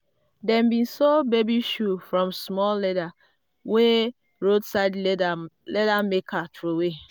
dem bin sew baby shoe from small leather wey roadside leather maker throwaway.